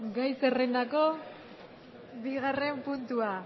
gai zerrendako bigarren puntua